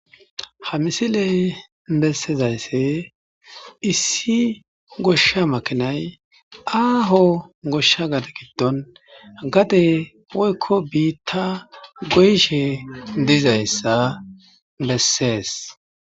Ha misiley bessezaysse issi goshsha makinay aaho goshsha gade giddon gade oykko biitta goyshe diizayssa bessees.